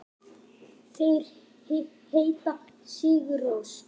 Þeir heita Sigur Rós.